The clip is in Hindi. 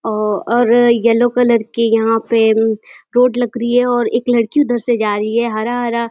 औ और येलो कलर की यहाँ पे रोड लग रही है और एक लड़की उधर से जा रही है। हरा हरा --